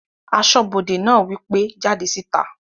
Asọ́bodè náà wí pé "jáde síta!"